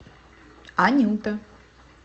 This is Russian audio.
анюта